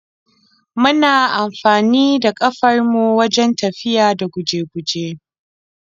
Muna amfanida kafar mu wajen tafiya da guje-guje.